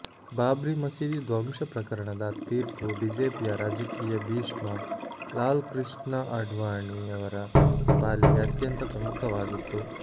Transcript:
ಬಾಬ್ರಿ ಮಸೀದಿ ಧ್ವಂಸ ಪ್ರಕರಣದ ತೀರ್ಪು ಬಿಜೆಪಿಯ ರಾಜಕೀಯ ಭೀಷ್ಮ ಲಾಲ್ ಕೃಷ್ಣ ಅಡ್ವಾಣಿಯವರ ಪಾಲಿಗೆ ಅತ್ಯಂತ ಪ್ರಮುಖವಾಗಿತ್ತು